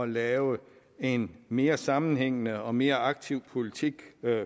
lave en mere sammenhængende og mere aktiv politik